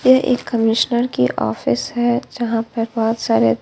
यह एक कमिशनर की ऑफिस हैं जहाँ पर बहुत सारे--